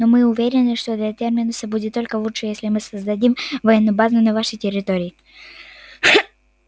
но мы уверены что для терминуса будет только лучше если мы создадим военную базу на вашей территории